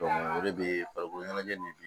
o de bɛ farikolo ɲɛnajɛ nin